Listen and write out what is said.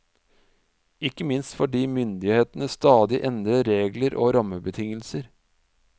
Ikke minst fordi myndighetene stadig endrer regler og rammebetingelser.